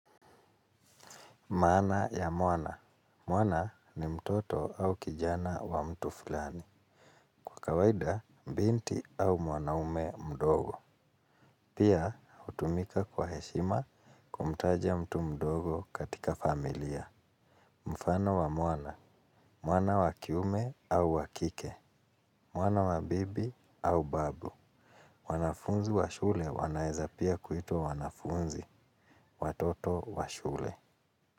Maana ya mwana. Mwana ni mtoto au kijana wa mtu fulani. Kwa kawaida, binti au mwanaume mdogo. Pia, hutumika kwa heshima kumtaja mtu mdogo katika familia. Mfano wa mwana. Mwana wa kiume au wa kike. Mwana wa bibi au babu. Wanafunzi wa shule wanaweza pia kuitwa wanafunzi. Watoto wa shule.